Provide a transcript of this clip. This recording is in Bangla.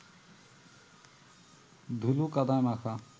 ধুলো কাদায় মাখা